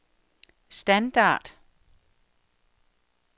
standard